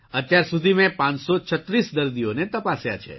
અત્યાર સુધી મેં ૫૩૬ દર્દીઓને તપાસ્યા છે